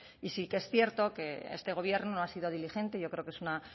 y sí que es cierto que este gobierno no ha sido diligente yo creo que es una